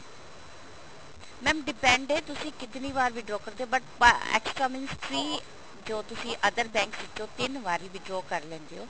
mam depend ਹੈ ਤੁਸੀਂ ਕਿਤਨੀ ਵਾਰ withdraw ਕਰਦੇ ਹੋ but ਅਹ extra means three ਜੋ ਤੁਸੀਂ other bank ਵਿੱਚੋਂ ਤਿੰਨ ਵਾਰੀ withdraw ਕਰ ਲੈਂਦੇ ਹੋ